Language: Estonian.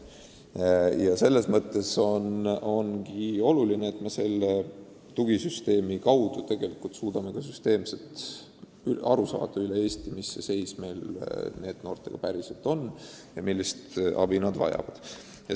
Selles mõttes ongi oluline, et me selle tugisüsteemi abil suudame süsteemselt kindlaks teha, mis seis meil Eestis NEET-noortega päriselt on ja millist abi nad vajavad.